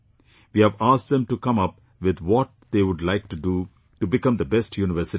We have asked them to come up with what they would like to do to become the best universities